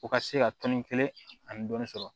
U ka se ka tɔnni kelen ani dɔɔnin sɔrɔ